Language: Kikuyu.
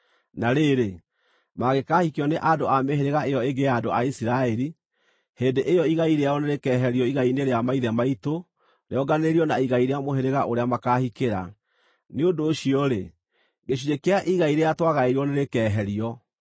Na rĩrĩ, mangĩkaahikio nĩ andũ a mĩhĩrĩga ĩyo ĩngĩ ya andũ a Isiraeli, hĩndĩ ĩyo igai rĩao nĩrĩkeherio igai-inĩ rĩa maithe maitũ rĩonganĩrĩrio na igai rĩa mũhĩrĩga ũrĩa makaahikĩra. Nĩ ũndũ ũcio-rĩ, gĩcunjĩ kĩa igai rĩrĩa twagaĩirwo nĩrĩkeherio.